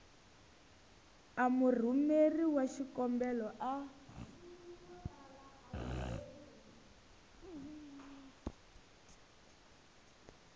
a murhumeri wa xikombelo a